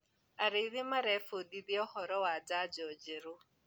Arĩithi marebundithia ũhoro wa janjo njerũ.